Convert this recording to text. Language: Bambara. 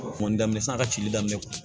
Kɔni daminɛ sisan a ka cili daminɛ